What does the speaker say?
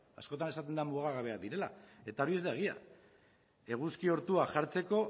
askotan esaten da mugagabeak direla eta hori ez da egia eguzki ortua jartzeko